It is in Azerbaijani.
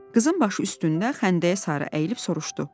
Qızın başı üstündə xəndəyə sarı əyilib soruşdu: